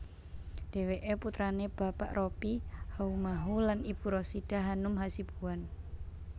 Dheweke putrane Bapak Robby Haumahu lan Ibu Rasidah Hanum Hasibuan